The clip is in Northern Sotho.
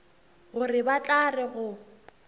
gore ba tla re go